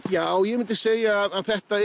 já ég myndi segja að þetta